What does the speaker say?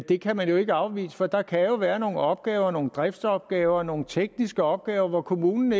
det kan man jo ikke afvise for der kan være nogle opgaver nogle driftsopgaver nogle tekniske opgaver hvor kommunen